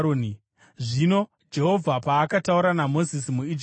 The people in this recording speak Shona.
Zvino Jehovha paakataura naMozisi muIjipiti,